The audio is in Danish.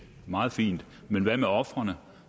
meget fint men hvad med ofrene